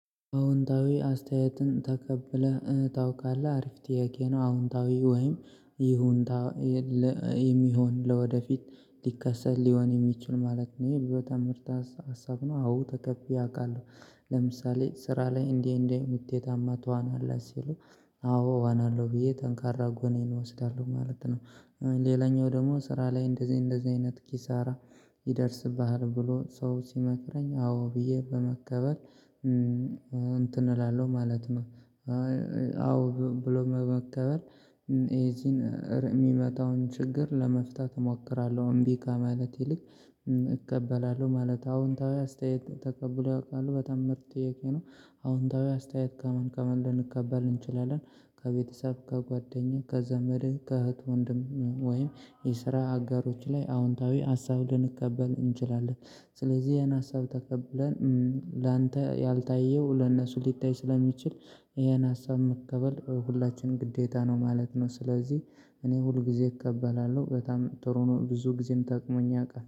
አዎንታዊ አስተያየትን ተቀብለህ እ ታውቃለህ አሪፍ ጥያቄ ነው? አዎንታዊ ወይም ይሁንታ እ የ ለ የሚሆን ለወደፊት ሊከሰት ሊሆን የሚችል ማለት ነው ይህ በጣም ምርጥ ሀ ሀሳብ ነው። አዎ ተከፊ አውቃለሁ። ለምሳሌ ስራ ላይ እንዲህ እንዲህ ምት የታማ ትዋናለህ ሲሉ? አዎ እዋናለሁ ብዬ ተንካራ ጎኔን እወስዳለሁ ማለት ነው። ሌላኛው ደግሞ ስራ ላይ እንደዚህ እንደዚህ አይነት ኪሳራ። ይደርስብሃል ብሎ ሰው ሲመክረኝ አዎ ብዬ በመቀበል እንትን እላለሁ ማለት ነው። አዎ ብሎ በመቀበል የዚን የሚመጣውን ችግር ለመፍታት እሞክራለሁ እምቢ ከማለት ይልቅ። እቀበላለሁ ማለት አዎንታዊ አስተያየት ተቀብሎ ያውቃሉ በጣም ምርጥ ጥያቄ ነው። አዎንታዊ አስተያየት ከምን ከምን ልንቀበል እንችላለን? ከቤተሰብ ከጓደኛ ከዘመድ ከእህት ወንድም ወይም የስራ አጋሮች ላይ አዎንታዊ ሀሳብ ልንቀበል እንችላለን። ስለዚህ ያን ሀሳብ ተቀብለን ላንተ ያልታየው ለእነሱ ሊታይ ስለሚችል። ይሄን ሀሳብ መቀበል ሁላችንም ግዴታ ነው ማለት ነው። ስለዚህ እኔ ሁል ጊዜ እቀበላለሁ በጣም ጥሩ ነው። ብዙ ጊዜም ጠቅሞኝ ያውቃለሁ